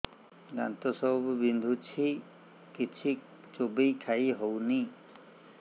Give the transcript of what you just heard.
ଦାନ୍ତ ସବୁ ବିନ୍ଧୁଛି କିଛି ଚୋବେଇ ଖାଇ ହଉନି